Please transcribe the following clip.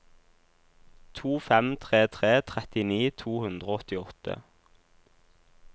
to fem tre tre trettini to hundre og åttiåtte